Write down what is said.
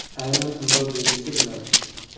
Aynan undov belgisi bilan.